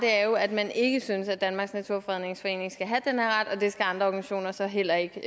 er jo at man ikke synes at danmarks naturfredningsforening skal have den her ret og at det skal andre organisationer så heller ikke de